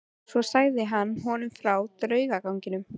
Svo sagði hann honum frá draugaganginum.